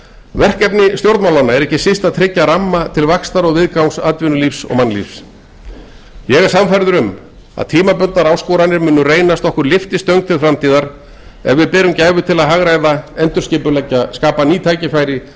verkefni stjórnmálanna er ekki síst að tryggja ramma til vaxtar og viðgangs atvinnulífs og mannlífs ég er sannfærður um að tímabundnar áskoranir munu reynast okkur lyftistöng til framtíðar ef við berum gæfu til að hagræða endurskipuleggja skapa ný tækifæri